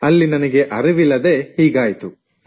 ಅಲ್ಲಿ ನನಗೆ ಅರಿವಿಲ್ಲದೇ ಹೀಗಾಯಿತು